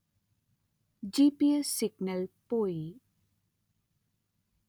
ജി_letter-en പി_letter-en എസ്_letter-en signal പോയി